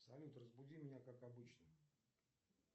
салют разбуди меня как обычно